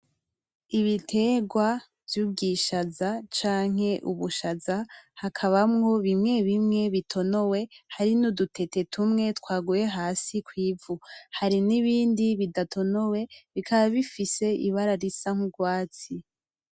Ibitegwa vy'ubwishaza canke ubushaza hakabamwo bimwe bimwe bitonowe hari n'udutete tumwe twaguye hasi kwivu hari n'ibindi bidatonowe bikaba bifise ibara risa nk'urwatsi.